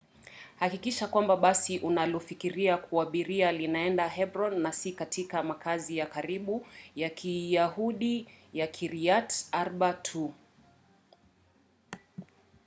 hakikisha kwamba basi unalofikiria kuabiri linaenda hebron na si katika makazi ya karibu ya kiyahudi ya kiryat arba tu